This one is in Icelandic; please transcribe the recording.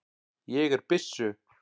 Ég er byssu